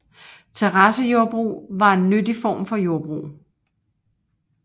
Terrassejordbrug var en nyttig form for jordbrug